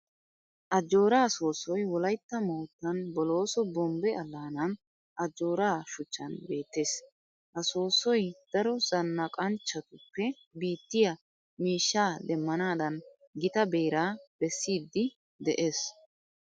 Ajjooraa soossoy wolaytta moottan bolooso bombbe allaanan ajoora shuchchan beettees. Ha soossoy daro zannaqanchchatuppe biittiya miishshaa demmanaadan gita beeraa bessiiddi de'ees.